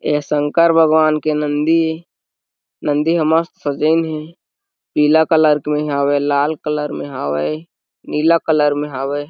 ये शंकर भगवान के नंदी ए नंदी ह मस्त सजइन हे पीला कलर में हावय लाल कलर में हावय नीला कलर में हावय।